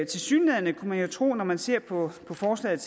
tilsyneladende kunne man jo tro når man ser på forslaget